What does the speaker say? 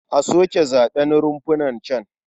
A soke zaɓen runfunan can.